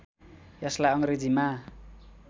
यसलार्इ अङ्ग्रेजीमा